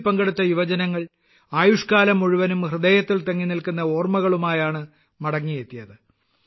ഇതിൽ പങ്കെടുത്ത യുവജനങ്ങൾ ആയുഷ്ക്കാലം മുഴുവനും ഹൃദയത്തിൽ തങ്ങിനിൽക്കുന്ന ഓർമ്മകളുമായാണ് മടങ്ങിയെത്തിയത്